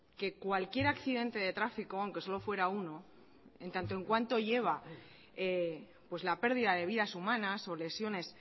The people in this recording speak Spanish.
que cualquier accidente de tráfico aunque solo fuera uno en tanto en cuanto lleva la pérdida de vidas humanas o lesiones